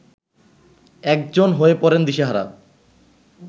একজন হয়ে পড়েন দিশেহারা